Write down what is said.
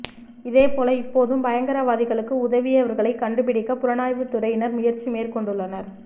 இதேபோல இப்போதும் பயங்கரவாதிகளுக்கு உதவியவர்களையும் கண்டுபிடிக்க புலனாய்வுத் துறையினர் முயற்சி மேற்கொண்டுள்ளனர்